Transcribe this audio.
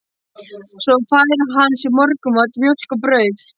Svo fær hann sér morgunmat, mjólk og brauð.